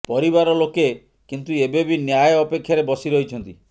ପରିବାର ଲୋକେ କିନ୍ତୁ ଏବେ ବି ନ୍ୟାୟ ଅପେକ୍ଷାରେ ବସି ରହିଛନ୍ତି